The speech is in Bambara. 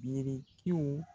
Birikiw